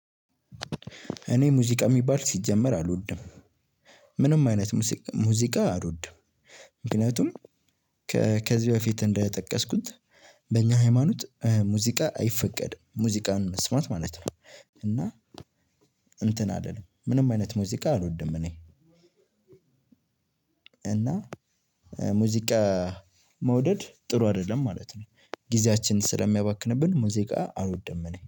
እኔ ሙዚቃ የሚባል ሲጀመር አልወድም ምንም አይነት ሙዚቃ አልወድም። ምክንያቱም ከዚህ በፊት እንደጠቀስኩት በእኛ ሃይማኖት ሙዚቃ አይፈቀድም ሙዚቃን መስማት ማለት ነው። እና እንትን አይደለም ምንም አይነት ሙዚቃ አልወድም። እኔ እና ሙዚቃ መውደድ ጥሩ አይደለም ማለት ነው። ጊዜያችን ስለሚያባክንብን ሙዚቃ አልወደም እኔ